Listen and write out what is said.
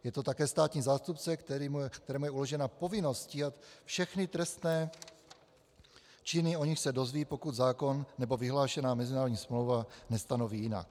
Je to také státní zástupce, kterému je uložena povinnost stíhat všechny trestné činy, o nichž se dozví, pokud zákon nebo vyhlášená mezinárodní smlouva nestanoví jinak.